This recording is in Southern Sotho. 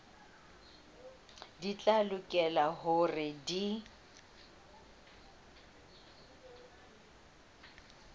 di tla lokela hore di